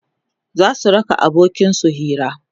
zasu raka abokin su Hira